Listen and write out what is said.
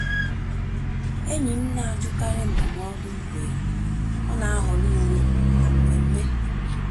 Ényí m ná-àjụ́kárí ndụ́mọ́dụ́ mgbé ọ́ ná-àhọ́rọ́ úwé máká mmémmé.